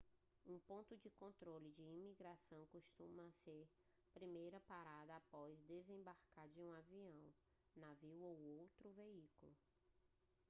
um ponto de controle de imigração costuma ser a primeira parada após desembarcar de um avião navio ou outro veículo